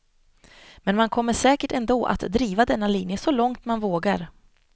Men man kommer säkert ändå att driva denna linje så långt man vågar.